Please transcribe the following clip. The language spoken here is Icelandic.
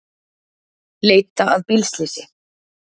Leita að bílslysi